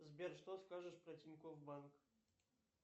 сбер что скажешь про тинькофф банк